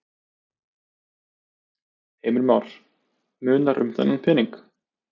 Heimir Már: Munar um þennan pening?